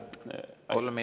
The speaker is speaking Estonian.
Kolm minutit lisaaega.